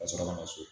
Ka sɔrɔ ka na so